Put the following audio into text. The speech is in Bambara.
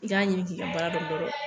I k'a ɲini k'i ka baara dɔ